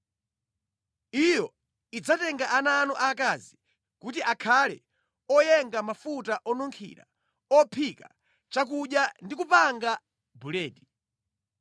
Iyo idzatenga ana anu akazi kuti akhale oyenga mafuta onunkhira, ophika chakudya ndi kupanga buledi.